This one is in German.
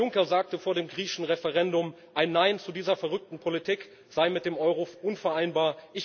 Herr Juncker sagte vor dem griechischen Referendum, ein Nein zu dieser verrückten Politik sei mit dem Euro unvereinbar.